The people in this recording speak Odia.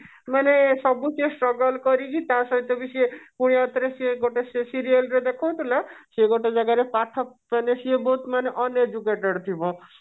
ମାନେ ସବୁ ସିଏ straggle କରିକି ଟା ସହିତ ବି ସିଏ ପୁଣି ଉପରେ ସିଏ ଗୋଟେ ସେ serial ରେ ଦେଖଉଥିଲେ ସିଏ ଗୋଟେ ଜାଗାରେ ପାଠ ମନେ ସିଏ ବହୁତ ମନେ uneducated ଥିବ